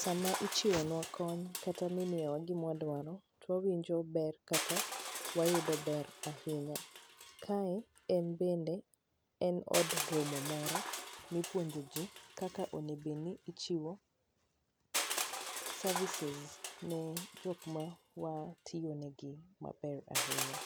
Sama ichiwo nwa kony kata mimiyowa gimwadwaro, wawinjo ber kata wayudo ber ahinya. Kae en bende en od romo moro, mipuonjo ji kaka oneg obed ni ichiwo services ne jok ma watiyo negi maber ahinya.